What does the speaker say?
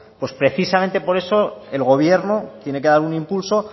pues precisamente por eso el gobierno tiene que dar un impulso